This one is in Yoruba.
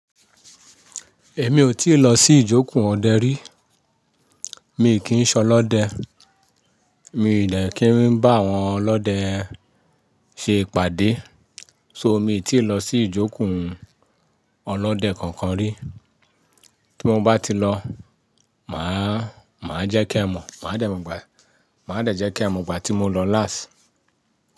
Èmi ò tíì lọ sí ìjókùn ọdẹ rí. Mi kì í ṣọlọ́dẹ, mi ò de kí ń bá àwọn ọlọ́dẹ ṣe ìpàdé. So mi ò tíì lọ sí ìjókùn ọlọ́dẹ kankan rí. Kí mo bá ti lọ, màá, màá jẹ́ kí ẹ mọ̀, màá dàjẹ́ kí ẹ mọ̀ ìgbà tí mo lọ láásì.